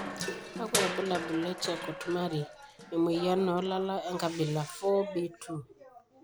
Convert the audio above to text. Kakwa ibulabul le charcot marie emoyian olala enkabilae 4B2?